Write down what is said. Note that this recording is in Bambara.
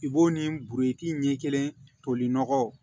I b'o ni buruti ɲɛ kelen toli nɔgɔ